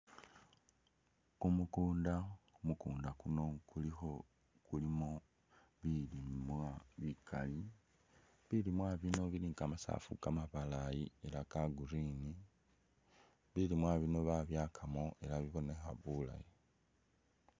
Kumukunda, mukunda kuno kulikho kulimo bilimwa bikali bilimwa bino bili ni kamasafu kamabalayi ela ka green bilimwa bino babyakamo ela bibonekha bulayi.